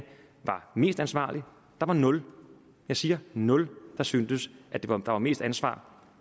var mest ansvarlig der var nul jeg siger nul der syntes at der var mest ansvar